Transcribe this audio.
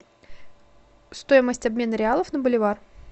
стоимость обмена реалов на боливар